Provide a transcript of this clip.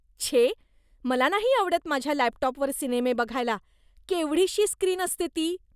छे. मला नाही आवडत माझ्या लॅपटॉपवर सिनेमे बघायला. केवढीशी स्क्रीन असते ती.